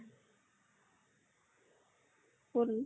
কʼত নো